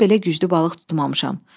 Ömrümdə belə güclü balıq tutmamışam.